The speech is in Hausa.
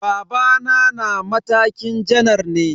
Babana na matakin janar ne.